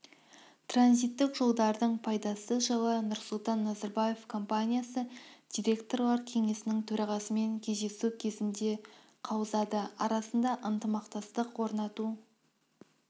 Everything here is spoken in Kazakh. транзиттік жолдардың пайдасы жайлы нұрсұлтан назарбаев компаниясы директорлар кеңесінің төрағасымен кездесу кезінде қаузады арада ынтымақтастық орнату